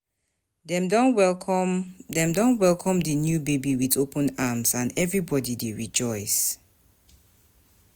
Dem don welcome Dem don welcome di new baby with open arms, and everybody dey rejoice.